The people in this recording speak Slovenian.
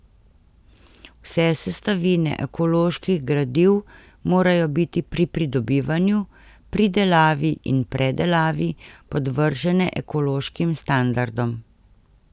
Vse sestavine ekoloških gradiv morajo biti pri pridobivanju, pridelavi in predelavi podvržene ekološkim standardom.